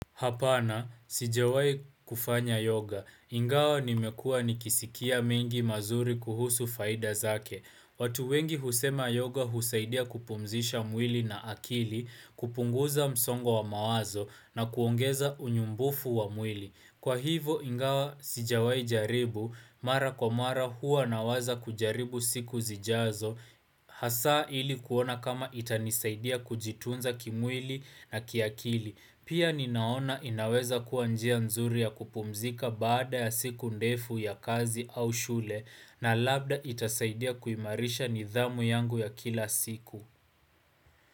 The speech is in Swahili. Hapana, sijawai kufanya yoga. Ingawa nimekua nikisikia mengi mazuri kuhusu faida zake. Watu wengi husema yoga husaidia kupumzisha mwili na akili, kupunguza msongo wa mawazo na kuongeza unyumbufu wa mwili. Kwa hivo, ingawa sijawai jaribu, mara kwa mara huwa na waza kujaribu siku zijazo, hasa ili kuona kama itanisaidia kujitunza kimwili na kiakili. Pia ninaona inaweza kuwa njia nzuri ya kupumzika baada ya siku ndefu ya kazi au shule na labda itasaidia kuimarisha nidhamu yangu ya kila siku.